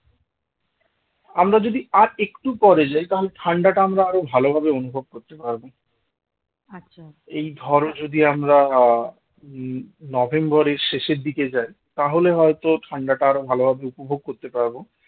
আমরা যদি আর একটু পরে যায় তাহলে ঠাণ্ডাটা আমরা আরো ভালোভাবে অনুভব করতে পারবো এই ধরো যদি আমরা আহ উম নভেম্বরের শেষের দিকে যাই তাহলে হয়তো ঠান্ডাটা আরো ভালোভাবে উপভোগ করতে পারব